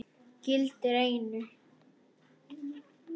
Gildir einu.